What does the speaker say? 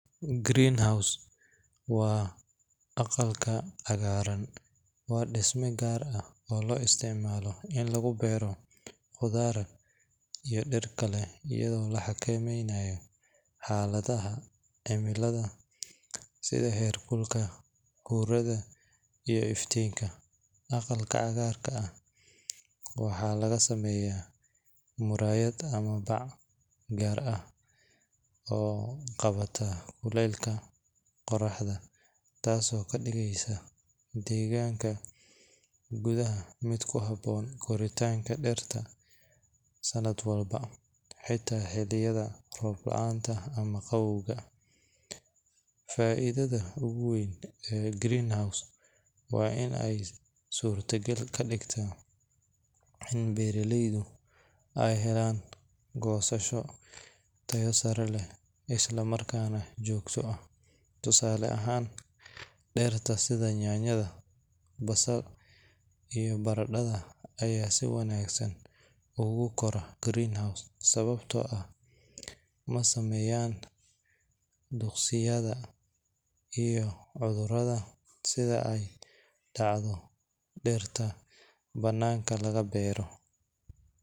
green house waa aqalka cagaaran, waa disma gaar ah oo loo isticmaalo in lagu berro dir, waxaa laga sameeya murayad ama bac taas oo qabata qoraxda, faidada oogu weyn waa inaay suurta gal gadigta goosasha heer sare, sababta oo ah masameysan cudurada sida aay dacdo dirta banaanka laga beero.